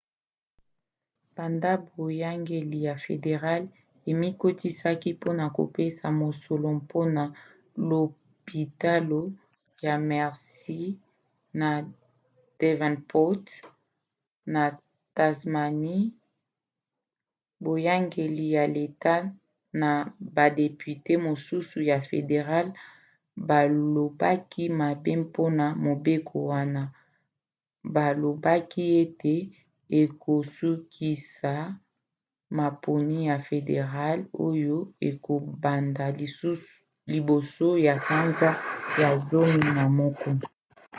banda boyangeli ya federale emikotisaki mpona kopesa mosolo mpona lopitalo ya mersey na devonport na tasmanie boyangeli ya leta na badepute mosusu ya federale balobaki mabe mpona mobeko wana balobaki ete ekosukisa maponi ya federale oyo ekobanda liboso ya sanza ya zomi na moko